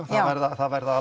það verða